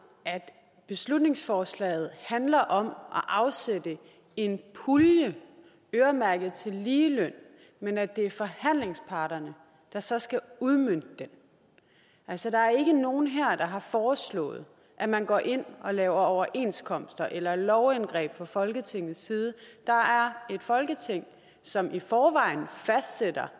at beslutningsforslaget handler om at afsætte en pulje øremærket til ligeløn men at det er forhandlingsparterne der så skal udmønte den altså der er ikke nogen her der har foreslået at man går ind og laver overenskomster eller lovindgreb fra folketingets side det er folketinget som i forvejen fastsætter